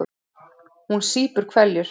Hún sýpur hveljur.